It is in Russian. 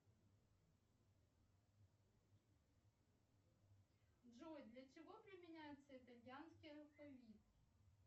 джой для чего применяется итальянский алфавит